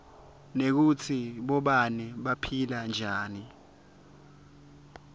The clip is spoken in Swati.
nekutsi bobabe baphila njani